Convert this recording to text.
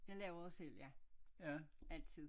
Ja laver det selv ja altid